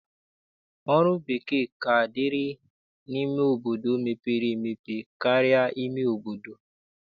Ọrụ bekee ka dịrị n'obodo mepere emepe karịa ime obodo.